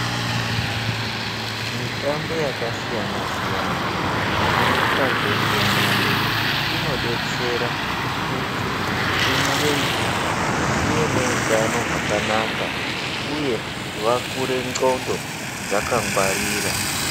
Mitambo yakasiyana siyana inotwa ngendumure inodetsera kuti ndumure idzi dzive neutano hwakanaka uye vakure ndxondo dzakangwarira.